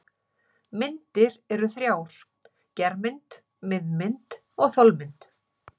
Myndir eru þrjár: germynd, miðmynd og þolmynd.